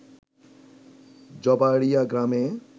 জবাড়িয়া গ্রামে